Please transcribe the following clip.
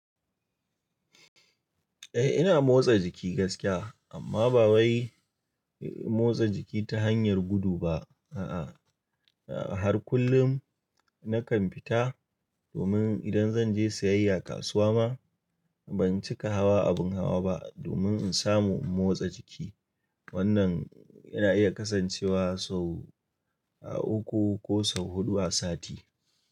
Eh ina motsa jiki gaskiya amma ba wai motsa jiki ta hanyar gudu ba a'a. Har kullum nakan fita domin idan zan je siyayya kasuwa ma ban cika hawa abun hawa ba domin in samu motsa jiki. Wannan yana iya kasancewa sau uku ko sau huɗu a sati.